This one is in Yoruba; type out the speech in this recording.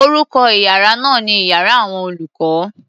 Orúkọ iyàrá náà ni iyàrá àwọn olùkó.